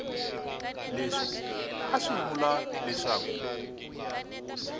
leswi a swi vula leswaku